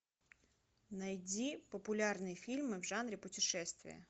найди популярные фильмы в жанре путешествия